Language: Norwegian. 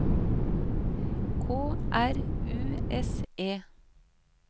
K R U S E